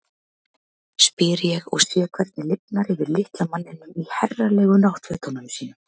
spyr ég og sé hvernig lifnar yfir litla manninum í herralegu náttfötunum sínum.